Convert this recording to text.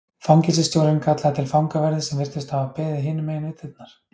Fangelsisstjórinn kallaði til fangaverði sem virtust hafa beðið hinum megin við dyrnar.